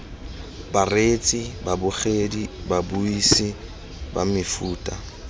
bareetsi babogedi babuisi ba mefuta